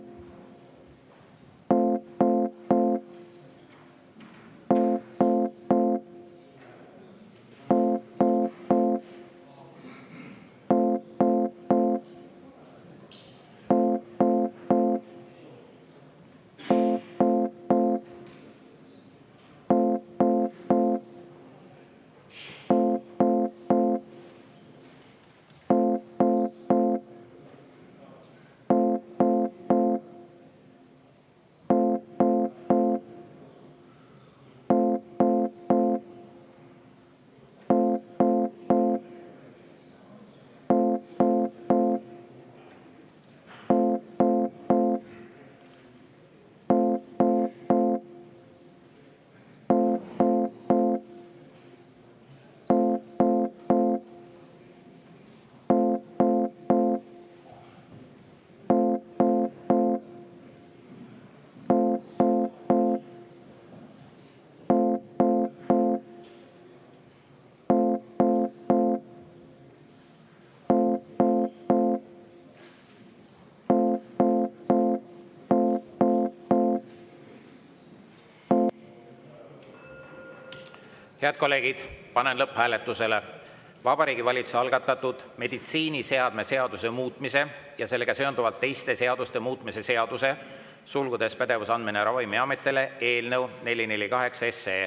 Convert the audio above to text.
Head kolleegid, panen lõpphääletusele Vabariigi Valitsuse algatatud meditsiiniseadme seaduse muutmise ja sellega seonduvalt teiste seaduste muutmise seaduse eelnõu 448.